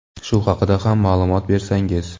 Shu haqida ham ma’lumot bersangiz.